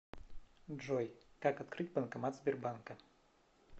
джой как открыть банкомат сбербанка